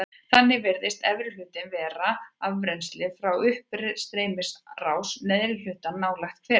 Þannig virðist efri hlutinn vera afrennsli frá uppstreymisrás neðri hlutans nálægt Hveragili.